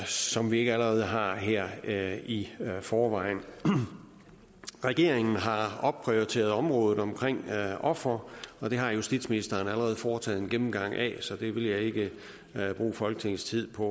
som vi ikke allerede har her her i forvejen regeringen har opprioriteret området omkring ofre og det har justitsministeren allerede foretaget en gennemgang af så det vil jeg ikke bruge folketingets tid på